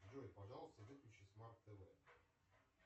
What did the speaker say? джой пожалуйста выключи смарт тв